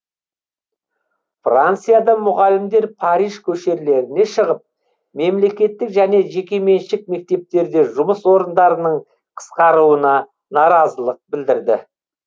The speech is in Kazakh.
францияда мұғалімдер париж көшелеріне шығып мемлекеттік және жекеменшік мектептерде жұмыс орындарының қысқаруына наразылық білдірді